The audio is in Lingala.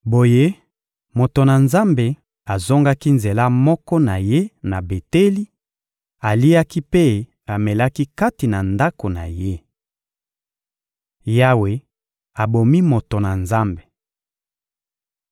Boye, moto na Nzambe azongaki nzela moko na ye na Beteli, aliaki mpe amelaki kati na ndako na ye. Yawe abomi moto na Nzambe